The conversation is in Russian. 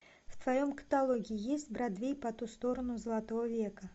в твоем каталоге есть бродвей по ту сторону золотого века